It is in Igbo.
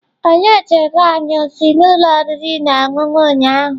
Onye jere anyị ozi n'ụlọ oriri na ọṅụṅụ ụnyahụ?